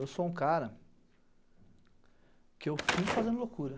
Eu sou um cara que eu fico fazendo loucura.